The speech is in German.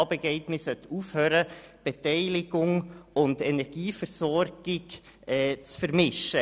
Man sollte aufhören, Beteiligung und Energieversorgung zu vermischen.